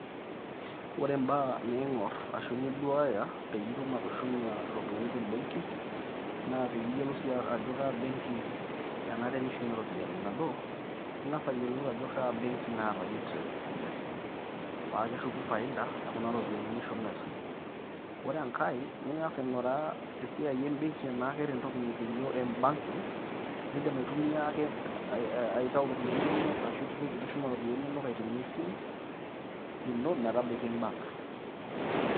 Ore imbaaa ning'or ashu niduaaya peeyie itum atushuma iropiani te mbengi naa peeyie iyolou sii ajo kaa beng'i enare nishumie iropiani. Nabo, ing'as ayiolou ajo kaa beng'i naata interest sidai paa keshuku faida e kuna ropiani nishumita. Ore enkai naa, niing'as aing'uraa esiai embeng'i naa keata entoki nikijo M- Banking niidim aitumia ake aitayu iropiani inono ashu itushuma iropiani inono aitumia esimu ino metabaiki embank.